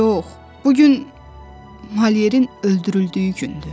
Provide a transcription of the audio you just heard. Yox, bu gün Malyerin öldürüldüyü gündür.